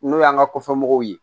N'o y'an ka kɔfɛmɔgɔw ye